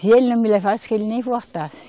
Se ele não me levasse, que ele nem voltasse.